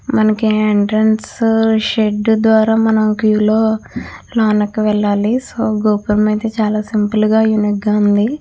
మనకి entrance shed ద్వారా మనం క్యూ లో లోనికి వెళ్ళాలి. సో గోపురం అయితే చాలా సింపుల్ గా యూనిక్ గా ఉంది.